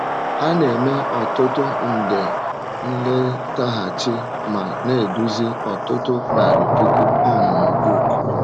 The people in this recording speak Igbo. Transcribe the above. A na - eme ọtụtụ nde nletaghachi ma na - eduzi ọtụtụ narị puku ọmụmụ book.